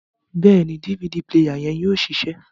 Bẹẹni, DVD player yẹn yóò ṣiṣẹ